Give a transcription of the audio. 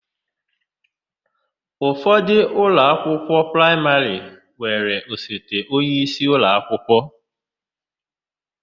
Ụfọdụ ụlọakwụkwọ praịmarị nwere osote onyeisi ụlọakwụkwọ.